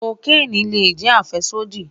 Kokeni le jẹ afẹsodi